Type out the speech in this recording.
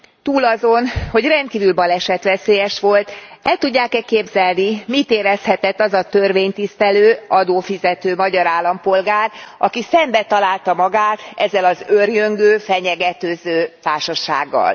Túl azon, hogy rendkívül balesetveszélyes volt, el tudják e képzelni, mit érezhetett az a törvénytisztelő, adófizető magyar állampolgár, aki szembetalálta magát ezzel az őrjöngő, fenyegetőző társasággal?